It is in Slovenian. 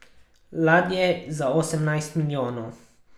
Ladje za osemnajst milijonov.